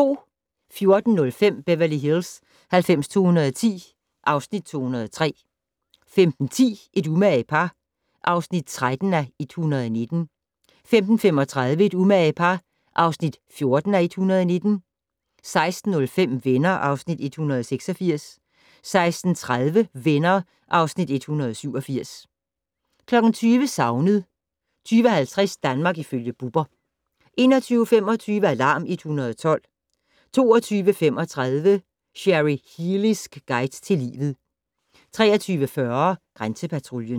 14:05: Beverly Hills 90210 (Afs. 203) 15:10: Et umage par (13:119) 15:35: Et umage par (14:119) 16:05: Venner (Afs. 186) 16:30: Venner (Afs. 187) 20:00: Savnet 20:50: Danmark ifølge Bubber 21:25: Alarm 112 22:35: Cherry Healeys guide til livet 23:40: Grænsepatruljen